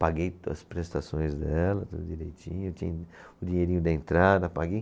Paguei as prestações dela, tudo direitinho, eu tinha o dinheirinho da entrada, paguei.